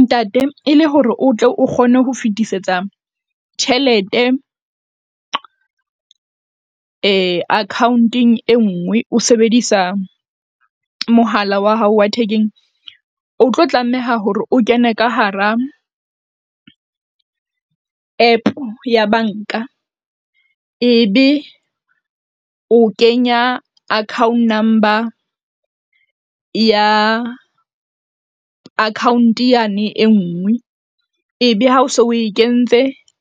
Ntate e le hore o tle o kgone ho fetisetsa tjhelete akhaonteng e nngwe, o sebedisa mohala wa hao wa thekeng, o tlo tlameha hore o kene ka hara app ya bank-a. Ebe o kenya account number ya, account yane e nngwe ebe ha o so o e kentse